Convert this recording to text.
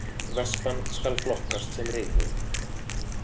Vespan skal flokkast sem reiðhjól